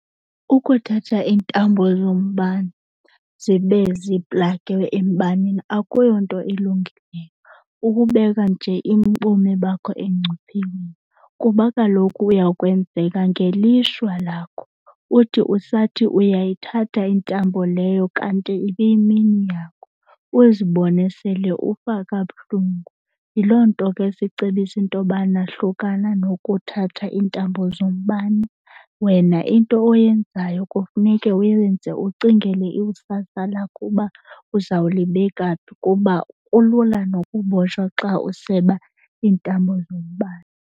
Ukuthatha iintambo zombane zibe ziplage embaneni akuyonto ilungileyo kukubeka nje ubomi bakho engcuphekweni. Kuba kaloku uya kwenzeka ngelishwa lakho uthi usathi uyayithatha intambo leyo kanti ibiyimini yakho uzibone sele ufa kabuhlungu. Yiloo nto ke sicebisa into yobana hlukana nokuthatha iintambo zombane. Wena into oyenzayo kufuneka uyenze ucingele ikusasa lakho uba uzawulibeka phi kuba kulula nokubotshwa xa useba iintambo zombane.